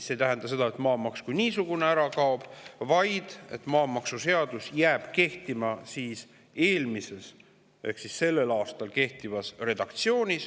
See ei tähenda seda, et maamaks kui niisugune ära kaob, vaid et jääb kehtima maamaksuseaduse eelmine ehk sellel aastal kehtiv redaktsioon.